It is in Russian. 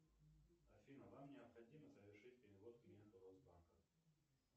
афина вам необходимо совершить перевод клиенту росбанка